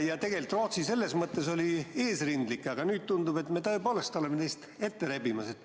Ja tegelikult Rootsi on selles mõttes eesrindlik olnud, aga nüüd tundub, et me tõepoolest oleme neist ette rebimas.